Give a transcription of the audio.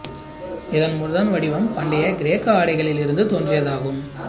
இதன் முதல் வடிவம் பண்டைய கிரேக்க ஆடைகளில் இருந்து தோன்றியதாகும்